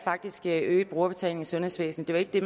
faktisk er øget brugerbetaling i sundhedsvæsenet det